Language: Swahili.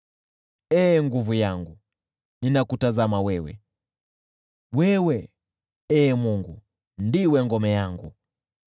Ee nguvu yangu, ninakutazama wewe, wewe, Ee Mungu, ndiwe ngome yangu,